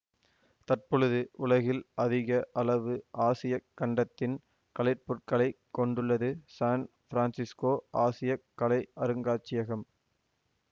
தற்பொழுது உலகில் அதிக அளவு ஆசிய கண்டத்தின் கலைப்பொருட்களைக் கொண்டுள்ளது சான் ஃபிரான்சிஸ்கோ ஆசிய கலை அருங்காட்சியகம்